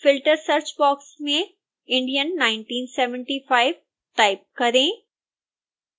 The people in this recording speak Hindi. filter सर्च बॉक्स में indian 1975 टाइप करें